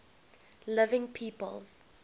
living people